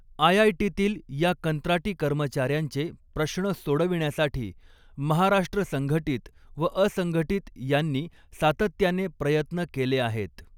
आयआयटीतील या कंत्राटी कर्मचाऱ्यांचे प्रश्न सोडविण्यासाठी महाराष्ट्र संघटित व अंसघटित यांनी सातत्याने प्रयत्न केले आहेत.